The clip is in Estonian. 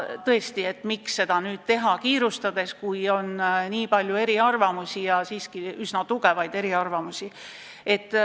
Tõesti, miks seda kõike teha kiirustades, kui on nii palju eriarvamusi, seejuures vägagi kindlaid eriarvamusi.